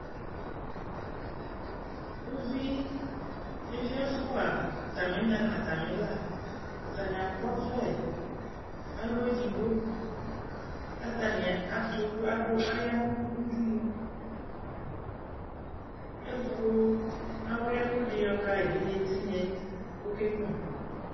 Uvi evi ɛfʋa, atamɩna nʋ atamɩla, atanɩ akɔ ɔvlɛ alɔ edigbo Kʋ atanɩ atʋ, adʋ, aya nʋ udunu Kʋ ewu awlʋɩɛkʋ dɩ yɔka evidze tɩnya yɛ kʋ ɔkenyuǝ